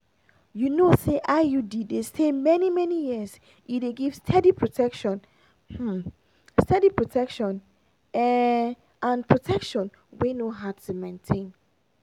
you know say iud dey stay many-many years e dey give steady protection um steady protection um and protection wey no hard to maintain.